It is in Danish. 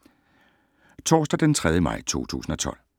Torsdag d. 3. maj 2012